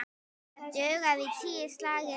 Það dugði í tíu slagi.